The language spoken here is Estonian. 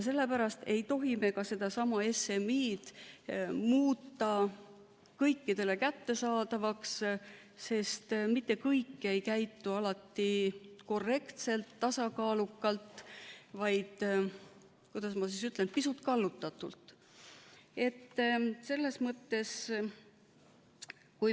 Sellepärast ei tohi me ka sedasama SMI-d muuta kõikidele kättesaadavaks, sest mitte kõik ei käitu alati korrektselt, tasakaalukalt, vaid, kuidas ma ütlen, pisut kallutatult.